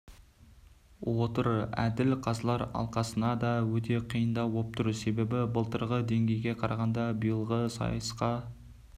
отыр әділ қазылар алқасына да өте қиындау боп тұр себебі былтырғы деңгейге қарағанда биылғы сайысқа